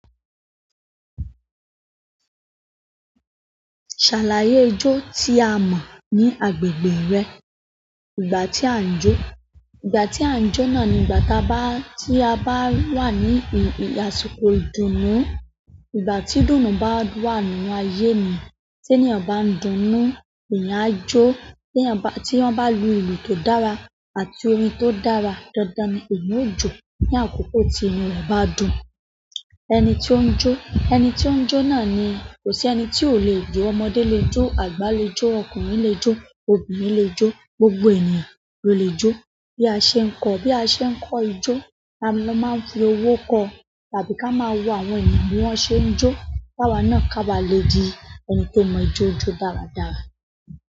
Ṣàlàyé ijó tí a mọ̀ ní agbègbè rẹ. Ìgbà tí à ń jó. Ìgbà tí à ń jó náà ni ìgbà tí a bá wà ní àsìkò ìdùnnú. Ìgbà tí ìdùnnú bá wà nínú ayé mi. Tí ènìyàn bá ń dunnú, ènìyàn á jó. Tí wọ́n bá lu ìlù tó dára àti orin tó dára dándán ni èmì ó jó. Ni àkókò tí inú rẹ̀ bá dùn. Ẹni tí ó ń jó. Ẹni tí ó ń jó náà ni kò sí ẹni tí ò lè jó. Ọmọdé lè jó, àgbà lè jó, ọkùnrin lè jó, obìnrin lè jó. Gbogbo ènìyàn lo le jo bí a ṣe ń kọ. Bí a ṣe ń kọ ijó, a máa ń fi owó kọ àbí ká máa wo àwọn ènìyàn bí wọ́n ṣe ń jó. Ká wa na ká bá lè di ẹni tó mọ ijó jó dáradára.